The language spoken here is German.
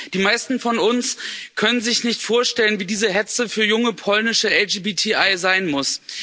Die meisten von uns können sich nicht vorstellen, wie diese Hetze für junge polnische LGBTI sein muss.